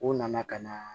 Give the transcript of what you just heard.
U nana ka na